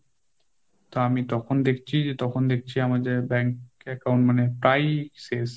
তা আমি তখন দেখছি, যে তখন দেখছি আমাদের bank account মানে প্রায়ই শেষ।